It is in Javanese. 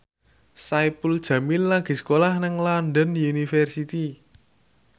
Saipul Jamil lagi sekolah nang London University